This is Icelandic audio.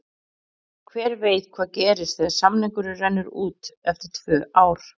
Hver veit hvað gerist þegar samningurinn rennur út eftir tvö ár?